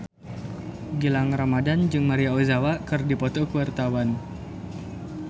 Gilang Ramadan jeung Maria Ozawa keur dipoto ku wartawan